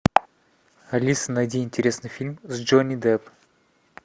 алиса найди интересный фильм с джонни депп